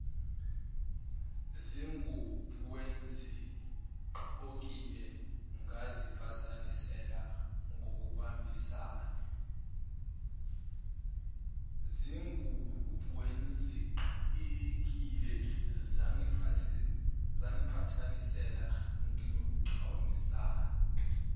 zinguboengizigqokile ngazipatanisela ngibambisane